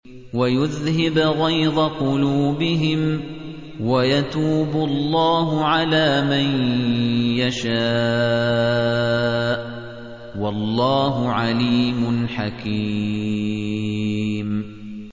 وَيُذْهِبْ غَيْظَ قُلُوبِهِمْ ۗ وَيَتُوبُ اللَّهُ عَلَىٰ مَن يَشَاءُ ۗ وَاللَّهُ عَلِيمٌ حَكِيمٌ